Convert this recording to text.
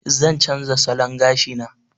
Zan canza salon gashina.